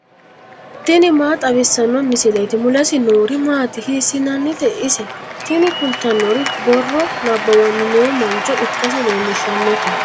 tini maa xawissanno misileeti ? mulese noori maati ? hiissinannite ise ? tini kultannori borro nabbawanni noo mancho ikkasi leellishshannote.